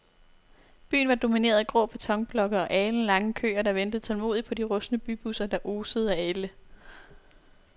Byen var domineret af grå betonblokke og alenlange køer, der ventede tålmodigt på de rustne bybusser, der osede af ælde.